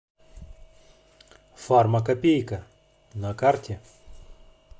фармакопейка на карте